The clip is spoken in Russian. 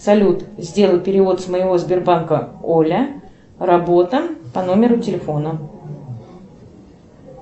салют сделай перевод с моего сбербанка оля работа по номеру телефона